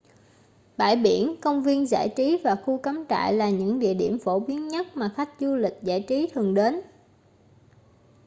bãi biển công viên giải trí và khu cắm trại là những địa điểm phổ biến nhất mà khách du lịch giải trí thường đến